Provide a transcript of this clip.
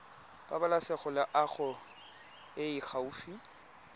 pabalesego loago e e gaufi